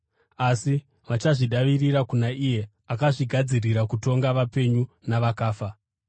Asi vachazvidavirira kuna iye akazvigadzirira kutonga vapenyu navakafa.